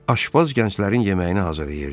Aşpaz gənclərin yeməyini hazırlayırdı.